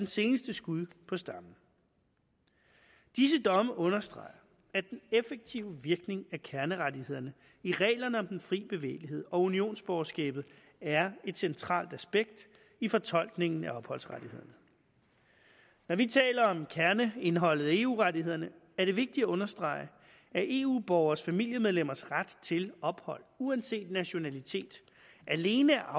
seneste skud på stammen disse domme understreger at den effektive virkning af kernerettighederne i reglerne om den fri bevægelighed og unionsborgerskabet er et centralt aspekt i fortolkningen af opholdsrettighederne når vi taler om kerneindholdet af eu rettighederne er det vigtigt at understrege at eu borgeres familiemedlemmers ret til ophold uanset nationalitet alene er